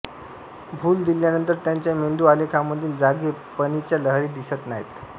भूल दिल्यानंतर त्यांच्या मेंदू आलेखामधील जागे पणीच्या लहरी दिसत नाहीत